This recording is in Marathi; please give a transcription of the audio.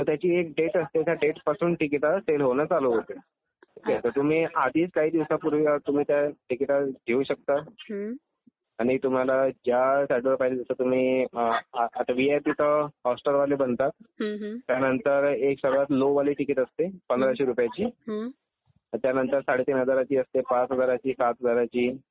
तर त्याची एक डेट असते त्या डेटपासून तिकीटं सेल होणं चालू होते. तर तुम्ही आधीच काही दिवसांपूर्वी तुम्ही ते तिकीटं घेऊ शकता. आणि तुम्हाला ज्या स्टँडवर पाहिजे त्यावर तुम्ही .. व्हीआयपी तर कॉस्टर वाले बनतात. त्या नंतर एक सगळ्यात लो वाली टिकिट असते. पंधराशे रुपयाची, त्यानंतर साडेतीन हजाराची, पाच हजाराची, सात हजाराची..